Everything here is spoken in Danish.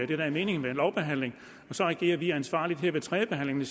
det der er meningen med en lovbehandling og så agerer vi ansvarligt her ved tredjebehandlingen